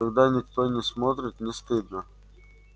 когда никто не смотрит не стыдно